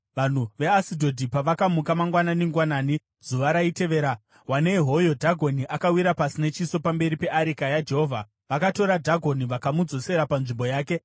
Vanhu veAshidhodhi pavakamuka mangwanani-ngwanani zuva raitevera, wanei hoyo Dhagoni akawira pasi nechiso pamberi peareka yaJehovha! Vakatora Dhagoni vakamudzosera panzvimbo yake.